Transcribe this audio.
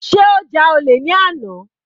Sé ó ja olè ní àná.